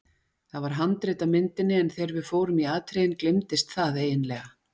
Það var handrit að myndinni en þegar við fórum í atriðin gleymdist það eiginlega.